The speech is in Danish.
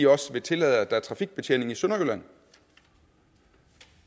også vil tillade at der er trafikbetjening i sønderjylland